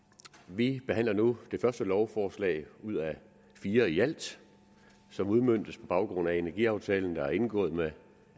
vi behandler nu det første lovforslag ud af fire ialt som udmøntes på baggrund af energiaftalen der er indgået mellem